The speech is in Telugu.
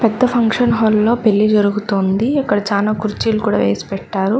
పెద్ద ఫంక్షన్ హాల్ లో పెళ్లి జరుగుతోంది అక్కడ చానా కుర్చీలు కూడా వేసీ పెట్టారు.